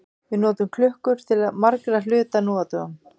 Við notum klukkur til margra hluta nú á dögum.